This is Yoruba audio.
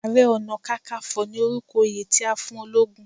Àrẹ-ọ̀nà-kákanfọ̀ ni orúkọ oyè tí a fún ológun.